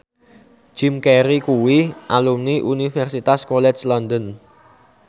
Jim Carey kuwi alumni Universitas College London